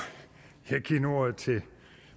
jeg giver nu ordet til